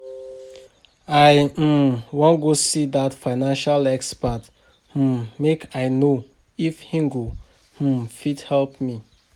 I um wan go see dat financial expert um make I no if he go um fit help me